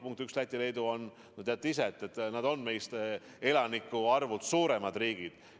Punkt üks: Läti ja Leedu on, teate ise ka, meist elanike arvult suuremad riigid.